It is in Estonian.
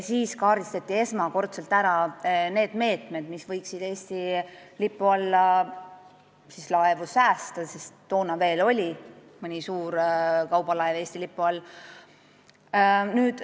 Siis kaardistati esimest korda need meetmed, mis võiksid laevu Eesti lipu all hoida, sest toona oli veel mõni suur kaubalaev Eesti lipu all.